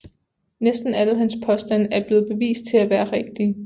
Næsten alle hans påstande er blevet bevist til at være rigtige